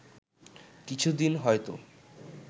কিছু দিন হয়তো